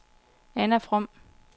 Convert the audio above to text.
Anna From